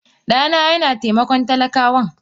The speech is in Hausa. Dana yana taimakon talaka wan.